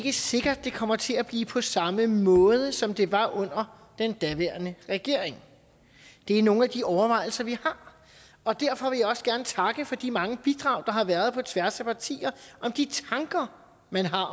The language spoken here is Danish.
er sikkert at det kommer til at blive på samme måde som det var under den daværende regering det er nogle af de overvejelser vi har og derfor vil jeg også gerne takke for de mange bidrag der har været på tværs af partier om de tanker man har